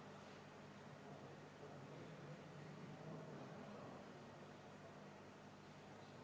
Andres Herkel arupärijate nimel, palun!